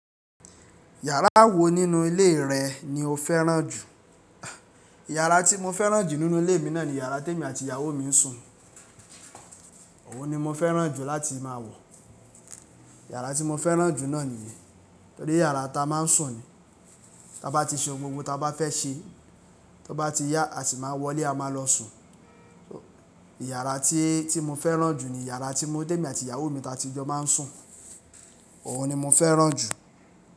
Yàrá wo nínú ilé rẹ ni o fẹ́ràn jù? A Ìyàrá tí mo fẹ́ràn jù nínú ilé mi náà ni yàrá tí èmi àti ìyàwó mi ń sùn. Òun ni mo fẹ́ràn jù láti máa wọ̀. Ìyàrá tí mo fẹ́ràn jù náà nìyí, torí yàrá ta a máa ń sùn ni. Tí a bá ti ṣe ohun gbogbo tí a bá fẹ́ ṣe, tí ó bá ti yá, a sì máa wọlé, a máa lọ sùn. Ìyàrá tí, tí mo fẹ́ràn jù ni yàrá tí mo, tèmi àti ìyàwó mi ta ti jọ máa ń sùn. Òwo ni mo fẹ́ràn jù.